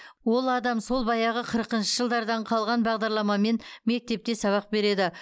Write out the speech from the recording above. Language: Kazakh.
ол адам сол баяғы қырқыншы жылдардан қалған бағдарламамен мектепте сабақ береді